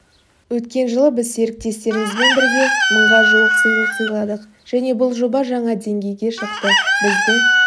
өткен жылы біз серіктестерімізбен бірге мыңға жуық сыйлық сыйладық және бұл жоба жаңа деңгейге шықты бізді